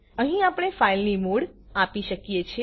અહીં આપણે ફાઈલની મોડ આપી શકીએ છે